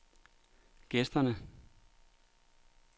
gæsterne